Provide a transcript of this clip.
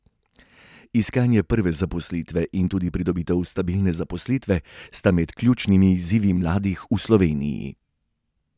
Iskanje prve zaposlitve in tudi pridobitev stabilne zaposlitve sta med ključnimi izzivi mladih v Sloveniji.